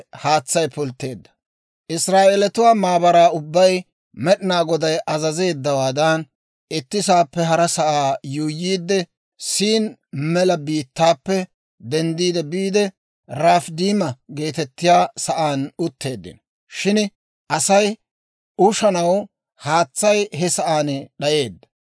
Israa'eeletuwaa maabaraa ubbay Med'inaa Goday azazeeddawaadan, itti sa'aappe hara sa'aa yuuyyiidde, Siin mela biittaappe denddi biide, Rafidiima geetettiyaa sa'aan utteeddino. Shin Asay ushanaw haatsay he sa'aan d'ayeedda.